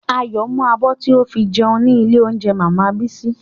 Ayọ̀ mú abọ́ tí o fi jẹun ní ilé óúnjẹ màmá Bísí